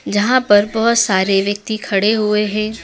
जहां पर बहोत सारे व्यक्ति खड़े हुए हैं।